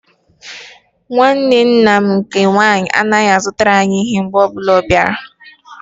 Nwanne nna m nke nwaanyị anaghị-azụtara anyị ihe mgbe ọbụla ọ bịara.